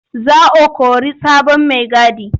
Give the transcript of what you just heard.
Za o kori sabon maigadi.